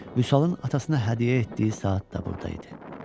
Vüsalın atasına hədiyyə etdiyi saat da burdaydı.